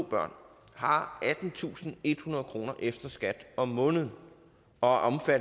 to børn har attentusinde og ethundrede kroner efter skat om måneden og